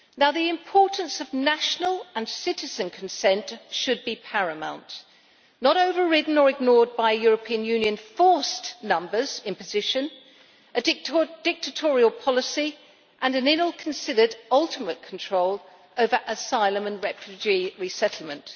The importance of national and citizen consent should be paramount, not overridden or ignored by European Union forced numbers imposition, a dictatorial policy and an ill considered ultimate control over asylum and refugee resettlement.